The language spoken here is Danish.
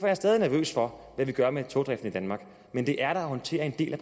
jeg stadig nervøs over hvad vi skal gøre med togdriften i danmark men det er da at håndtere en del af